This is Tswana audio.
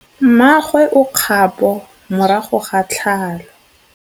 Mmagwe o kgapô morago ga tlhalô.